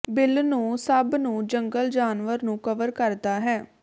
bill ਨੂੰ ਸਭ ਨੂੰ ਜੰਗਲ ਜਾਨਵਰ ਨੂੰ ਕਵਰ ਕਰਦਾ ਹੈ